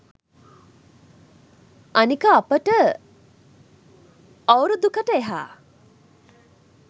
අනික අපිට අවුරුදුකට එහා